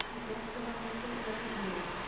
Í gæsluvarðhaldi vegna árásar